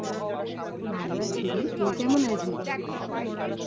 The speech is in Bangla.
ভালো আছি রে, তুই কেমন আছিস?